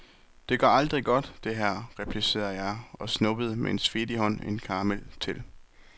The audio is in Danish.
Det går aldrig godt, det her, replicerede jeg og snuppede med svedig hånd en karamel til.